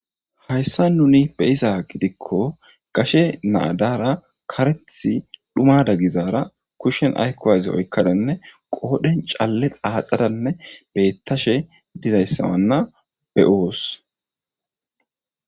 Hayssan nuni be'izayssa giddiko issi gashe na ddara karethi dhummada gizaara kushen aako aazi qodhen cale xaxadane oykada dawus.